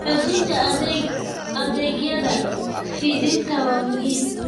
Xoojinta adeegyada fidinta waa muhiim.